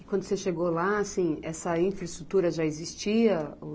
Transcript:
E quando você chegou lá, assim, essa infraestrutura já existia ou?